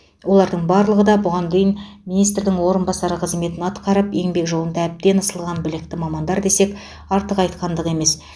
олардың барлығы да бұған дейін министрдің орынбасары қызметін атқарып еңбек жолында әбден ысылған білікті мамандар десек артық айтқандық емес